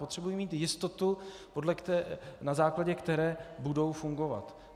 Potřebují mít jistotu, na základě které budou fungovat.